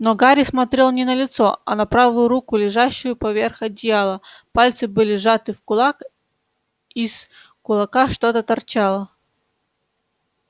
но гарри смотрел не на лицо а на правую руку лежащую поверх одеяла пальцы были сжаты в кулак из кулака что-то торчало